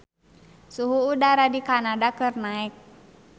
Suhu udara di Kanada keur naek